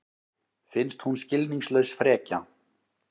Finnst hún skilningslaus frekja.